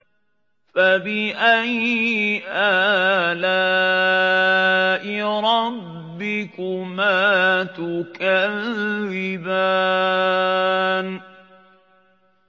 فَبِأَيِّ آلَاءِ رَبِّكُمَا تُكَذِّبَانِ